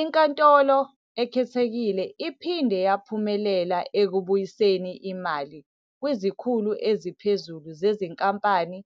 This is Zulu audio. INkantolo Ekhethekile iphinde yaphumelela ekubuyiseni imali kwizikhulu eziphezulu zezinkampani